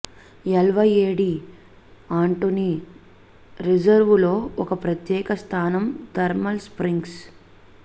L వైయే డి అంటోన్ రిజర్వులో ఒక ప్రత్యేక స్థానం థర్మల్ స్ప్రింగ్స్